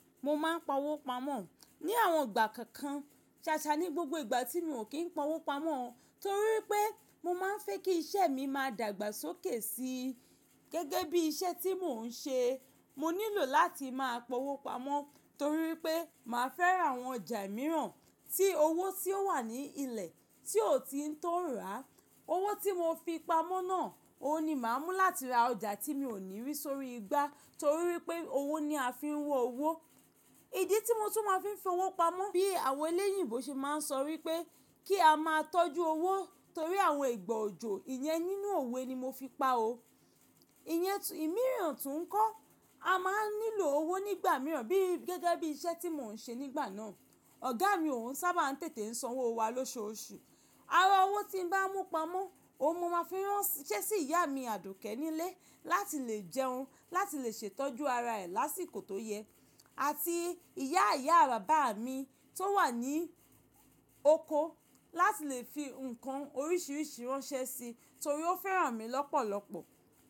Mo máa ń pa owó pamọ́ ní àwọn ìgbà kánkan ṣàṣà ní gbogbo ìgbà tí mi ò kín ń pa owó pamọ́ torí pé mọ máa ń fẹ́ kí iṣẹ́ mi má dàgbàsókè si. Gẹ́gẹ́ bí iṣẹ́ tí mò ń ṣe, mo nílò láti máa pa owó pamọ́ torí pé màá fẹ́ ra àwọn ọjà mìíràn tí owó tí ó wà ní ilẹ̀ tí ò ti tọ́ rà. Owó tí mo fi pamọ́ náà, òun ni màá mú láti ra ọjà tí mi ò ní rí sórí igbá torí wípé owó ni a fi ń wà owó. Ìdí tí mo tún máa ń fi fowó pamọ́ bí àwọn eléyìbo ṣe máa ń sọ wípé kí a máa tọ́jú owó torí àwọn ìgbọ̀ọ̀jọ̀, ìyẹn nínú òwe ni mo fi pa òó. Ìyẹn ìmíràn tún kọ́. A máa ń nílò owó nígbà mìíràn bí gẹ́gẹ́ bí iṣẹ́ tí mò ń ṣe nígbà náà. Ọ̀gá mi ò n sábà ń tètè san owó wa lóṣooṣù. Ara owó tí n bá mú pamọ́, òun mo máa fi ránṣẹ́ sí ìyá mi Àdùkẹ́ nílé láti lè jẹun, láti lè ṣètọ́jú ara rẹ̀ lásìkò tó yẹ àti ìyá ìyá bàbá mi tó wà ní oko láti lè fi nǹkan oríṣiríṣi ránṣẹ́ si torí ó fẹ́ràn mi lọ́pọ̀lọ́pọ̀.